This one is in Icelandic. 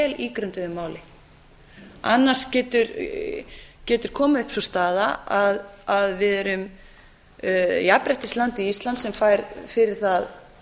ígrunduðu máli annars getur komið upp sú staða að við erum jafnréttislandið ísland sem fær fyrir það